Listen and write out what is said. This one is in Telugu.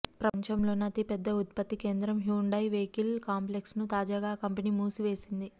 ప్రపంచంలోనే అతిపెద్ద ఉత్పత్తి కేంద్రం హ్యుండాయ్ వెహికల్ కాంప్లెక్స్ ను తాజాగా ఆ కంపెనీ మూసివేసింది